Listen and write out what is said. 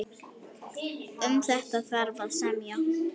Um þetta þarf að semja.